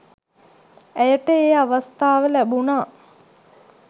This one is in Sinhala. ඇයට ඒ අවස්ථාව ලැබුණා